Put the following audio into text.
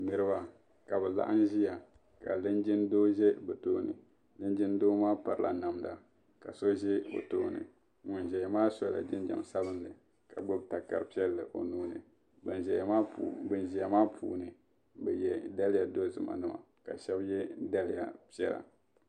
Niriba ka bɛ laɣim ʒiya ka linjin doo ʒe bɛ tooni linjin doo maa pirila namda ka so ʒe o tooni ŋun zaya maa sola jinjam sabinli ka gbubi takar'piɛlli o nuu ni ban ʒiya maa puuni bɛ ye daliya dozim nima ka shɛba ye daliya piɛla.